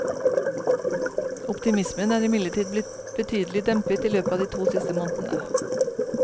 Optimismen er imidlertid blitt betydelig dempet i løpet av de to siste månedene.